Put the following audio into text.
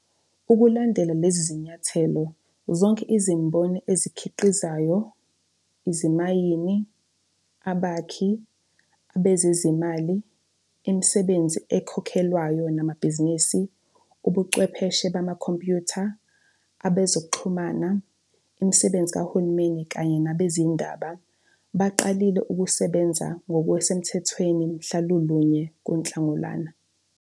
Ukulandela lezi zinyathelo, zonke izimboni ezikhi qizayo, izimayini, abakhi, abezezimali, imisebenzi ekhokhelwayo namabhizinisi, ubuchwepheshe bamakhompyutha, abe zokuxhumana, imisebenzi kahulumeni kanye nabezindaba, baqalile ukusebenza ngokusemthethweni mhla lulunye kuNhlangulana.